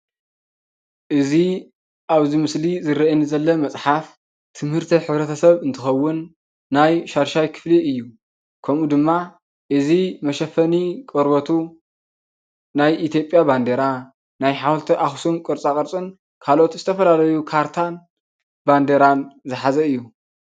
እዚ ኣብዚ ምስሊ ይርአ ዘሎ መፅሓፍ ትምህርቲ ሕብረተሰብ እንትኸውን ናይ 6ይ ክፍሊ እዩ፡፡ ከምኡ ድማ እዚ መሸፈኒ ቆርበቱ ናይ ኢትዮጵያ ባንዲራ ናይ ሓወልቲ ኣኽሱም ቅርፃቕርፅን ካልኦት ዝተፈላለዩ ካርታን ባንዴራን ዝሓዘ እዩ፡፡